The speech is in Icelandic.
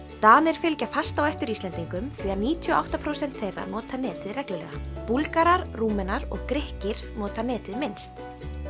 Danir fylgja fast á eftir Íslendingum því að níutíu og átta prósent þeirra nota netið reglulega Búlgarar Rúmenar og Grikkir nota netið minnst